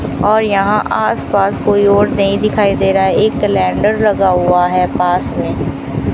और यहां आसपास कोई और नहीं दिखाई दे रहा एक लेडर लगा हुआ है पास में।